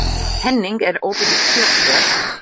Henning, er opið í Kjötborg?